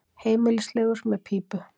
Heimilislegur með pípu.